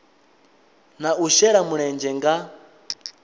na u shela mulenzhe nga